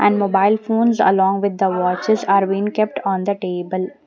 and mobile phones along with the watches are been kept on the table.